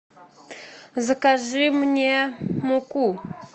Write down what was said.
закажи мне муку